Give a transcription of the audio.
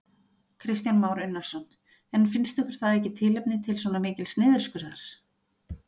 Kristján Már Unnarsson: En finnst ykkur það ekki tilefni til svona mikils niðurskurðar?